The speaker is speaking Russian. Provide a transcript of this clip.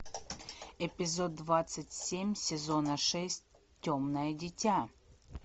эпизод двадцать семь сезона шесть темное дитя